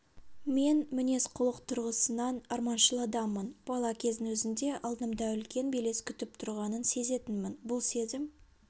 мен мінез-құлық тұрғысынан арманшыл адаммын бала кездің өзінде алдымда үлкен белес күтіп тұрғанын сезетінмін бұл сезім